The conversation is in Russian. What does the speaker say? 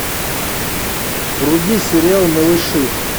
вруби сериал малыши